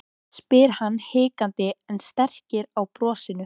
spyr hann hikandi en strekkir á brosinu.